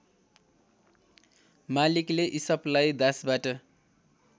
मालिकले इसपलाई दासबाट